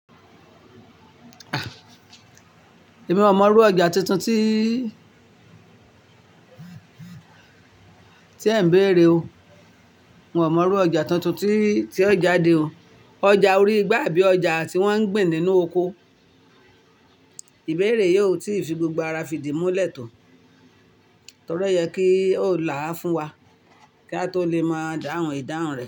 Èmi ò mọrú ọjà tuntun tí, tí ẹ̀ ń béèrè o. Mo ò mọrú ọjà tuntun tí, tí ó jáde o. Ọjà orí igbá àbí ọjà tí wọ́n ń gbin nínú oko. Ìbéèrè yí ò tí fi gbogbo ara fìdí múlẹ̀ tó. Torí ó yẹ kí ó là á fún wa kí a tó lè maa dahun ìdáhùn rẹ.